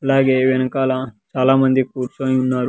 అలాగే వెనకాల చాలా మంది కూర్చొని ఉన్నారు.